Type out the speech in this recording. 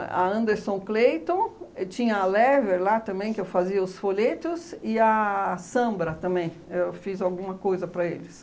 a Anderson Clayton, tinha a Lever lá também que eu fazia os folhetos e a Sambra também, eu fiz alguma coisa para eles.